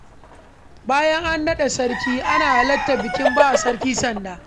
Bayan an naɗa sarki, ana halartar bikin bawa sarki sanda.